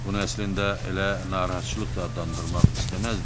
Bunu əslində elə narahatçılıq da adlandırmaq istəməzdim.